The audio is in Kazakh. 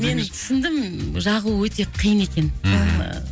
мен түсіндім жағу өте қиын екен мхм